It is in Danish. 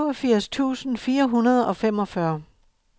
syvogfirs tusind fire hundrede og femogfyrre